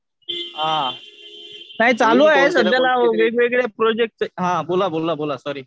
आ नाही चालू आहे सध्याला वेगवेगळ्या प्रोजेक्टचे हा बोला बोला सॉरी